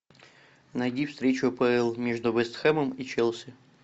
найди встречу апл между вест хэмом и челси